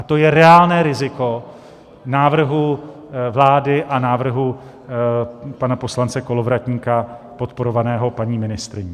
A to je reálné riziko návrhu vlády a návrhu pana poslance Kolovratníka, podporovaného paní ministryní.